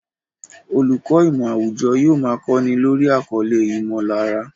Olùkọ́ ìmọ̀ àwùjọ yóò máa kọ́ni lórí àkọlé "ìmọ̀lára"